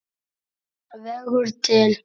vegur til.